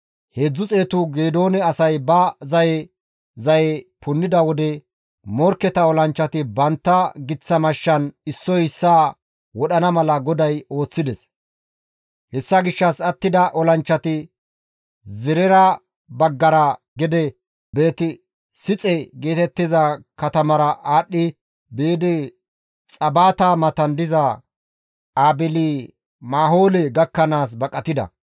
Heedzdzu xeetu Geedoone asay ba zaye zaye punnida wode morkketa olanchchati bantta giththa mashshan issoy issaa wodhana mala GODAY ooththides; hessa gishshas attida olanchchati Zerera baggara gede Beeti-Sixe geetettiza katamara aadhdhi biidi Xabata matan diza Aabeeli-Mahoole gakkanaas baqatida.